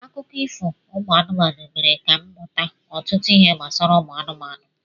Akụkọ ifo ụmụ anụmanụ mere ka m mmụta ọtụtụ ihe gbasara ụmụ anụmanụ.